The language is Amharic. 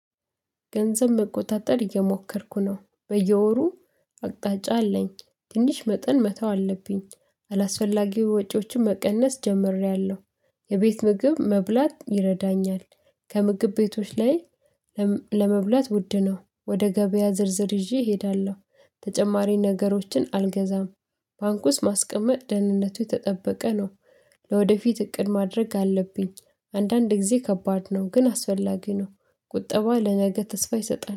ገንዘብ መቆጣጠር እየሞከርኩ ነ፤ በየወሩ አቅጣጫ አለኝ ትንሽ መጠን መተው አለብኝ። አላስፈላጊ ወጪዎችን መቀነስ ጀምሬያለሁ የቤት ምግብ መብላት ይረዳኛል። ከምግብ ቤቶች ላይ ለመብላት ውድ ነው ወደ ገበያ ዝርዝር ይዤ እሄዳለሁ። ተጨማሪ ነገሮችን አልገዛም። ባንኩስ ማስቀመጥ ደህንነቱ የተጠበቀ ነው። ለወደፊት እቅድ ማድረግ አለብኝ። አንዳንድ ጊዜ ከባድ ነው ግን አስፈላጊ ነው። ቁጠባ ለነገ ተስፋ ይሰጣል